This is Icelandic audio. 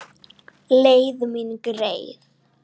Leið mín greið.